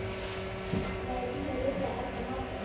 Nei, hún er líklega að elda matinn.